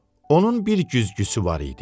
Onun bir güzgüsü var idi.